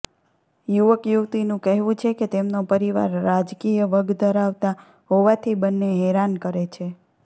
યુવક યુવતીનું કહેવું છે કે તેમનો પરિવાર રાજકીય વગ ધરાવતા હોવાથી બંન્ને હેરાન કરે છે